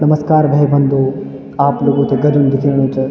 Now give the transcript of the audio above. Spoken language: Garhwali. नमस्कार भाई-बंधो आप लोगों थे गर्मी दिखेणु चा।